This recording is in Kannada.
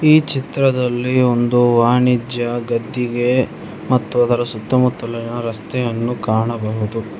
ಈ ಚಿತ್ರದಲ್ಲಿ ಒಂದು ವಾಣಿಜ್ಯ ಗದ್ದಿಗೆ ಮತ್ತು ಅದರ ಸುತ್ತ ಮುತ್ತಲಿನ ರಸ್ತೆಯನ್ನು ಕಾಣಬಹುದು.